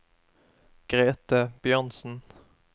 Grete Bjørnsen